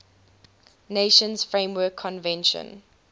nations framework convention